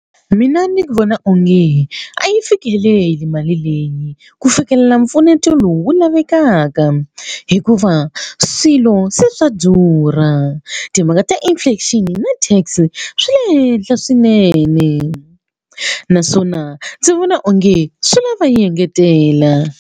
Mina ndzi vona onge a yi fikeleli mali leyi ku fikelela mpfuneto lowu wu lavekaka hikuva swilo se swa durha timhaka ta-inflation na tax swi le henhla swinene naswona ndzi vona onge swi lava va yi engetela.